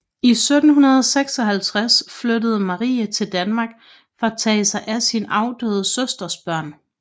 I 1756 flyttede Marie til Danmark for at tage sig af sin afdøde søsters børn